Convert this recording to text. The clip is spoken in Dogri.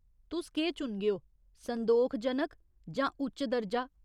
तुस केह् चुनगेओ, संदोखजनक जां उच्च दर्जा ?